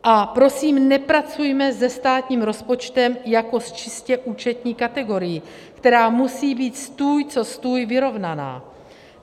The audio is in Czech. A prosím nepracujme se státním rozpočtem jako s čistě účetní kategorií, která musí být stůj co stůj vyrovnaná.